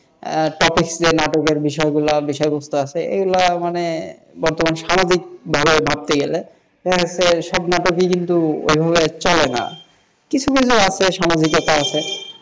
তবে শুধু নাটকের বিষয়বস্তু আছে, এগুলো মানে বর্তমান স্বাভাবিক ধারায় ভাবতে গেলে সব নাটকে কিন্তু এভাবে চলে না কিছু কিছু আছে সামাজিকতা আছে,